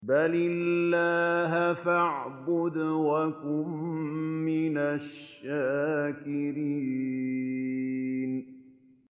بَلِ اللَّهَ فَاعْبُدْ وَكُن مِّنَ الشَّاكِرِينَ